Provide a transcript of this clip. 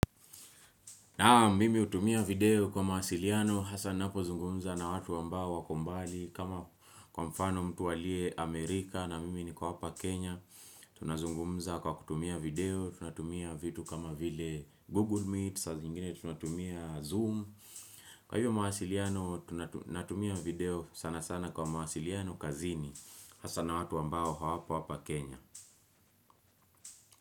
Naam mimi hutumia video kwa mawasiliano, hasa napo zungumza na watu wamba wako mbali kama kwa mfano mtu alie Amerika na mimi ni kwa whpa Kenya, tunazungumza kwa kutumia video, tunatumia vitu kama vile Google Meet, sa zingine tunatumia Zoom, kwa hiyo mawasiliano tunatumia video sana sana kwa mahasiliano kazini, hasa na watu ambao hawapo hapa Kenya.